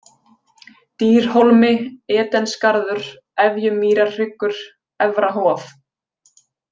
Dýrhólmi, Edensgarður, Efjumýrarhryggur, Efra-Hof